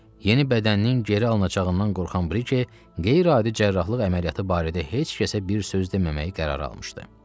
Yeni bədəninin geri alınacağından qorxan Brike qeyri-adi cərrahlıq əməliyyatı barədə heç kəsə bir söz deməməyi qərar almışdı.